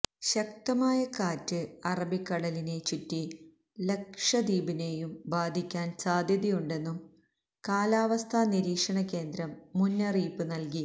ശക്തമായ കാറ്റ് അറബിക്കടലിനെ ചുറ്റി ലക്ഷദ്വീപിനേയും ബാധിക്കാന് സാധ്യതയുണ്ടെന്നും കാലാവസ്ഥാ നിരീക്ഷണ കേന്ദ്രം മുന്നറിയിപ്പ് നല്കി